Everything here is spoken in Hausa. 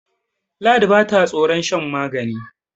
ladi ba ta tsoron shan magani